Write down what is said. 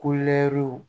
Ko lɛw